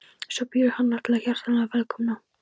Svo býður hann alla hjartanlega velkomna.